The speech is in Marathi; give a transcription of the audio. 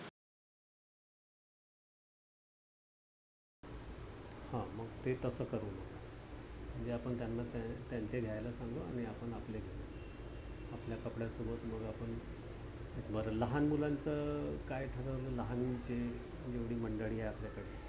हा मग ते तसं करू. म्हणजे आपण त्याना त्यांचे घ्यायला सांगू आणि आपण आपले घेवू. आपल्या कपड्या सोबत मग आपण बर लहान मुलाचं काय ठरवलंय लहान मुलं जेवडी मंडळी आहे आपल्याकडे